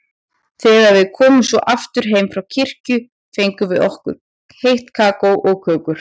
Þegar við komum svo aftur heim frá kirkju fengum við heitt kakó og kökur.